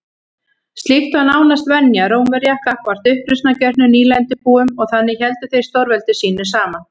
Slíkt var nánast venja Rómverja gagnvart uppreisnargjörnum nýlendubúum og þannig héldu þeir stórveldi sínu saman.